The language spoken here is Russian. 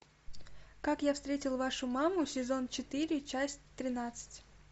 как я встретил вашу маму сезон четыре часть тринадцать